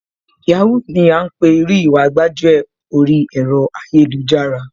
Yahoo ni à ńpè irú Ìwà gbájúẹ̀ oríi ẹ̀rọ ayélujára,